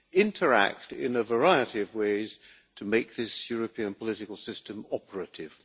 interact in a variety of ways to make this European political system operative.